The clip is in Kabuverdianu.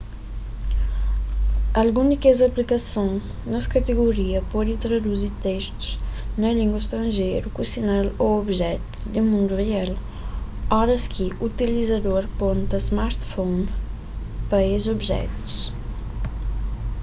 algun di kes aplikason nes kategoria pode traduzi testus na línguas stranjeiru ku sinal ô objetus na mundu real oras ki utilizador ponta smartphone pa es objetus